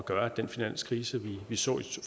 gøre at den finanskrise vi så